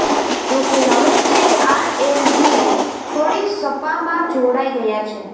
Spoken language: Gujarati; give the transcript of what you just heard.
જોકે હવે તે આરએલડી છોડી સપામાં જોડાઈ ગયા છે